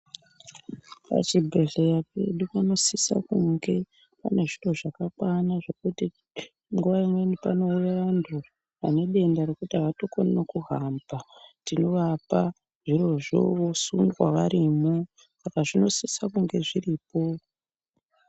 Pachibhedhleya pedu panosisa kunge pane zviro zvakakwana zvekuti nguwa imweni panouya vantu vane denda rekuti avatokoni nekuhamba tinovapa zvirozvo vosunga varimo saka zvinosisa kunge zviripo.